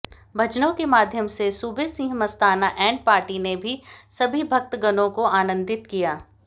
भजनों के माध्यम से सूबेसिंह मस्ताना एण्ड पार्टी ने भी सभी भक्तगणों को आनन्दित किया